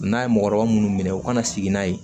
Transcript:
N'a ye mɔgɔkɔrɔba munnu minɛ u ka na sigi n'a ye